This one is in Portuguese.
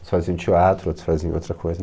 Uns faziam teatro, outros faziam outra coisa.